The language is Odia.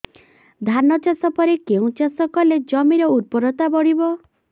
ଧାନ ଚାଷ ପରେ କେଉଁ ଚାଷ କଲେ ଜମିର ଉର୍ବରତା ବଢିବ